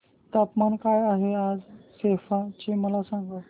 तापमान काय आहे आज सेप्पा चे मला सांगा